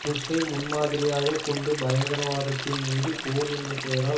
புஷ்ஷை முன் மாதிரியாக கொண்டு பயங்கரவாதத்தின் மீது போர் என்ற பெயரால்